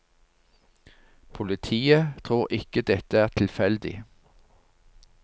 Politiet tror ikke dette er tilfeldig.